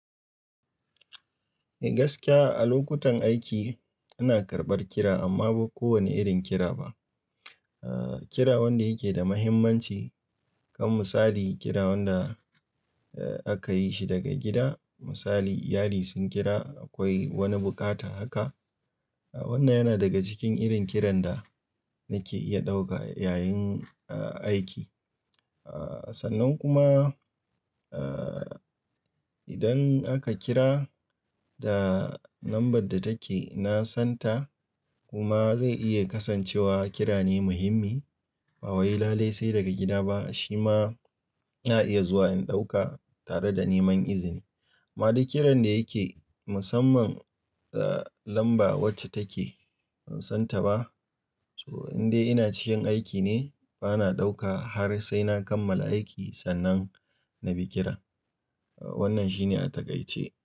Eh gaskiya a lokutan aiki ina karɓar kira amma ba kowane irin kira ba. Kira wanda yake da muhimmanci kaman misali kira wanda aka yi shi daga gida. Misali iyali sun kira akwai wani bukata haka. Wannan yana daga cikin irin kiran da nake iya ɗauka yayin aiki. Sannan kuma eh idan aka kira da lambar da take na san ta kuma zai iya kasancewa kira ne muhimmi, ba waye lalai sai daga gida ba. Shi ma ya iya zuwa in ɗauka tare da neman izini. Ma dai kiran da yake musamman lamba wacce take ban san ta ba. To in dai ina cikin aiki ne, bana ɗauka har sai na kammala aiki sannan na bi kiran. Wannan shine a takaice.